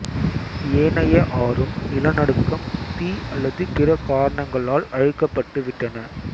ஏனைய ஆறும் நிலநடுக்கம் தீ அல்லது பிற காரணங்களால் அழிக்கப்பட்டு விட்டன